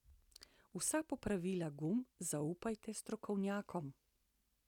Vsa popravila gum zaupajte strokovnjakom.